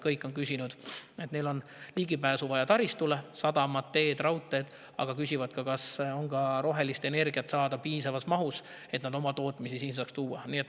Kõik on öelnud, et neil on vaja ligipääsu taristule – sadamad, teed, raudteed –, aga nad küsivad ka, kas on rohelist energiat saada piisavas mahus, et nad oma tootmise siia saaks tuua.